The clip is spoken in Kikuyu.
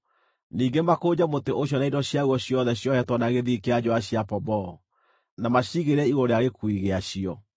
Ningĩ makũnje mũtĩ ũcio na indo ciaguo ciothe ciohetwo na gĩthii kĩa njũũa cia pomboo, na macigĩrĩre igũrũ rĩa gĩkuui gĩacio.